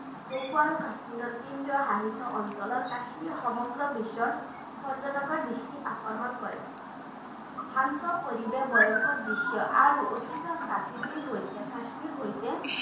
জম্মু আৰু কাশ্মীৰৰ কেন্দ্ৰীয় শাসিত অঞ্চলৰ কাশ্মীৰ সমগ্ৰ বিশ্বৰ পৰ্য্যটকৰ দৃষ্টি আকৰ্ষণ কৰে শান্ত পৰিৱেশ ভয়ংকৰ দৃশ্য আৰু অতীতৰ প্ৰকৃতিৰ সৈতে কাশ্মীৰ হৈছে